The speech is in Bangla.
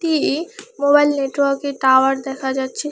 একটি মোবাইল নেটওয়ার্কের টাওয়ার দেখা যাচ্ছে।